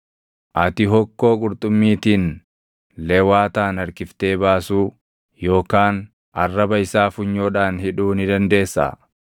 “Ati hokkoo qurxummiitiin Lewaataan harkiftee baasuu yookaan arraba isaa funyoodhaan hidhuu ni dandeessaa?